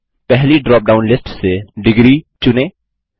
पहली drop down list से ° चुनें